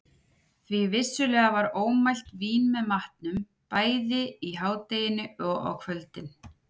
Því vissulega var ómælt vín með matnum, bæði í hádeginu og á kvöldin.